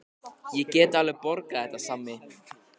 Ég get alveg borgað þetta, Sæmi.